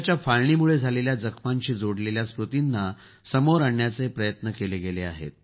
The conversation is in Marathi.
देशाच्या फाळणीमुळे झालेल्या जखमांशी जोडलेल्या स्मृतींना समोर आणण्याचे प्रयत्न केले गेले आहेत